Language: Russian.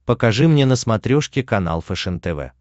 покажи мне на смотрешке канал фэшен тв